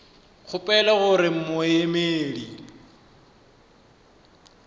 kgopela gore ka ge moemedi